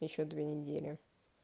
ещё две недели